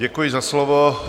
Děkuji za slovo.